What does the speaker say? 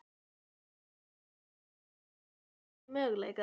Heimir Már Pétursson: Það eru margir möguleikar?